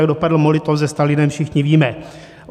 Jak dopadl Molotov se Stalinem, všichni víme.